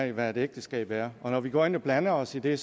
af hvad et ægteskab er når vi går ind og blander os i det